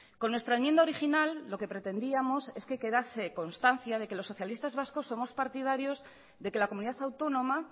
con nuestra enmienda original lo que pretendíamos es que quedase constancia de que los socialistas vascos somos partidarios de que la comunidad autónoma